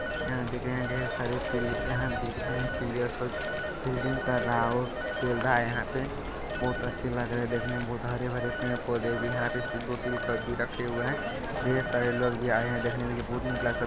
यहां आप ढेर सारे पी यहां आप देख रहे है प्लियर सब फील्डिंग कर रहा है और खेल रहा है यहां पे बहुत अच्छे लग रहे है देखने में बहुत हरे-भरे पेड़-पौधे भी है यहां पे भी रखे हुए है ढेर सारे लोग भी आए है देखने वाले --